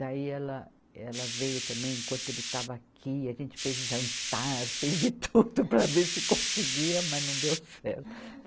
Daí ela, ela veio também, enquanto ele estava aqui, a gente fez jantar, fez de tudo para ver se conseguia, mas não deu certo.